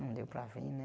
Não deu para vim, né?